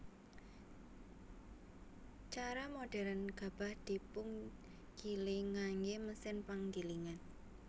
Cara modhèrn gabah dipungiling nganggé mesin panggilingan